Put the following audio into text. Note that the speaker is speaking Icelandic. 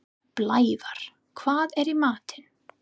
Blævar, hvað er í matinn?